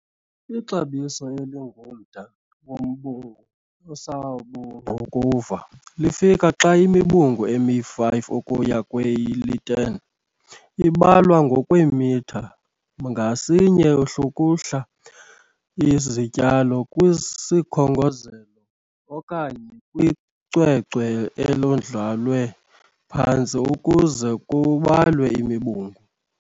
Ixabiso elingumda wombungu osabungqukuva lifika xa imibungu emi-5 ukuya kweli-10 ibalwa ngokwe m² ngasinye. Hlukuhla izityalo kwisikhongozelo okanye kwicwecwe elandlalwe phantsi ukuze kubalwe imibungu.